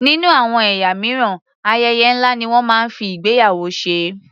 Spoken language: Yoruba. Nínú àwọn ẹ̀yà mìíràn, ayẹyẹ ńlá ni wọ́n máa ń fi ìgbéyàwó ṣe.